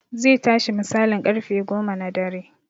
Zai tashi misalin ƙarfe goma na dare